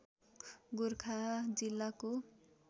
गोरखा जिल्लाको